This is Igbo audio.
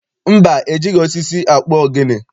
Mba, ejighị osisi akpụ ogene.